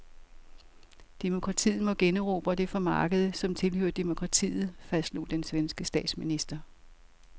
Demokratiet må generobre det fra markedet, som tilhører demokratiet, fastslog den svenske statsminister.